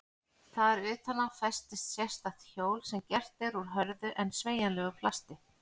Þar utan á festist sérstakt hjól sem gert er úr hörðu en sveigjanlegu plasti.